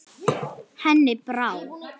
Henni brá.